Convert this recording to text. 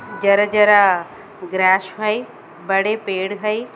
जरा-जरा grass भई बड़े पेड़ भई।